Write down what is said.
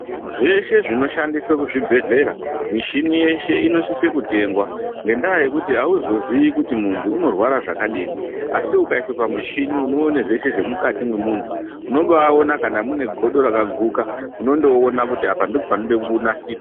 Zveshe zvinoshandiswe kuzvibhedhlera , mishini yese inosise kutengwa nendava yekuti hauzozivi kuti muntu undorwara zvakadini. Asi, ukayiswa pamushini unowone zvese zvemukati memuntu unobawona kana munegodo rakaguka unondowona kuti apa ndipo panodekunasirwa.